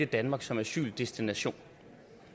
danmark som asyldestination